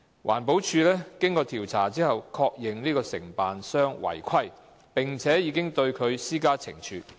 環境保護署經調查後確認該承辦商違規，並已對其施加懲處。